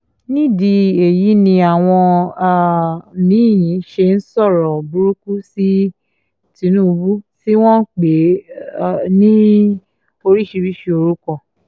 nídìí èyí ni àwọn um mí-ín ṣe ń sọ̀rọ̀ burúkú sí tìtúngbù tí wọ́n ń pè é um ní oríṣiríṣii orúkọ